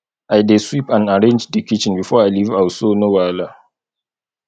i dey sweep and arrange di kitchen before i leave house so no wahala